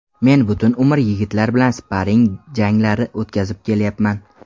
Men butun umr yigitlar bilan sparring janglari o‘tkazib kelyapman.